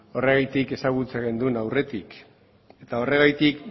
horregatik ezagutzen genuen aurretik eta horregatik